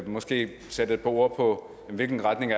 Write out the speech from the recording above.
måske sætte et par ord på hvilken retning